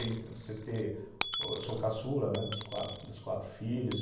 Eu sou caçula, né, dos quatro, dos quatro filhos.